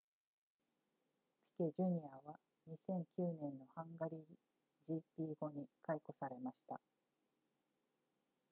ピケ jr. は2009年のハンガリー gp 後に解雇されました